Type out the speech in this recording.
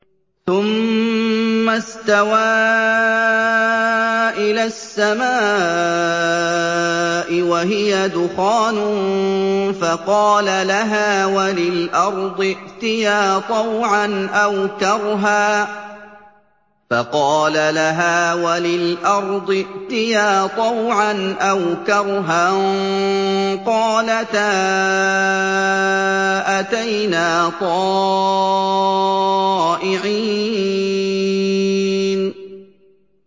ثُمَّ اسْتَوَىٰ إِلَى السَّمَاءِ وَهِيَ دُخَانٌ فَقَالَ لَهَا وَلِلْأَرْضِ ائْتِيَا طَوْعًا أَوْ كَرْهًا قَالَتَا أَتَيْنَا طَائِعِينَ